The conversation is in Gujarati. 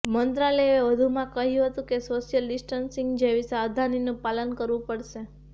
મંત્રાલયે વધુમાં કહ્યું હતું કે સોશિયલ ડિસ્ટન્સિંગ જેવી સાવધાનીનું પાલન કરવું પડશે